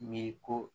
Mi ko